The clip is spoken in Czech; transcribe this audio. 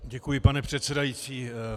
Děkuji, pane předsedající.